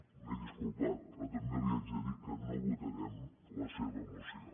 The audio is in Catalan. m’he disculpat però també li haig de dir que no votarem la seva moció